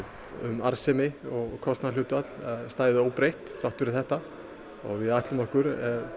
um arðsemi og kostnaðarhlutfall stæðu óbreytt þrátt fyrir þetta og við ætlum okkur